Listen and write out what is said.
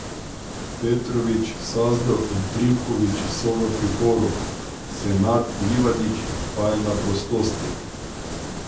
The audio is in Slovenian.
Petrović, Sazdov in Trivković so v priporu, Senad Livadić pa je na prostosti.